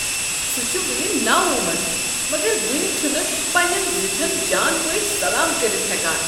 سُہ چھُ وٕنہ نوعمر مگر وٕنہِ چھُنہٕ پنٛنین زِٹھین جان پٲٹھۍ سلام کٔرتھ ہیكان۔